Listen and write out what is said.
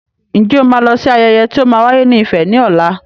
Ǹjẹ́ o ma lọ sí ayẹyẹ tí o ma wáyé ní Ifẹ̀ ní ọ̀la?